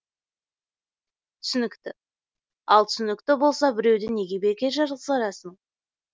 түсінікті ал түсінікті болса біреуді неге бекер жазғырасың